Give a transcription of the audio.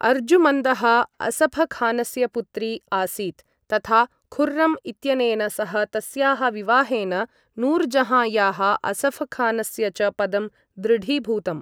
अर्जुमन्दः असफ़खानस्य पुत्री आसीत् तथा खुर्रम् इत्यनेन सह तस्याः विवाहेन नूरजहाँयाः असफ़खानस्य च पदं दृढीभूतम्।